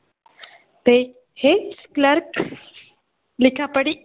ते हेच clerk लिखापडी